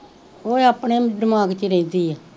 ਉਹ ਆਪਣੇ ਦਮਾਗ ਚ ਰਹਿੰਦੀ ਆ